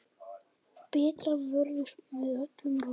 Bretar vörðust með öllum ráðum.